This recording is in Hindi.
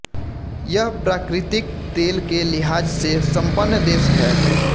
यह प्राकृतिक तेल के लिहाज से संपन्न देश है